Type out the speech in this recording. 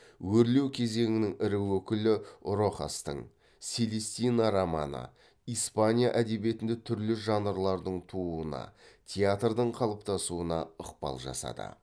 өрлеу кезеңінің ірі өкілі рохастың селестина романы испания әдебиетінде түрлі жанрлардың тууына театрдың қалыптасуына ықпал жасады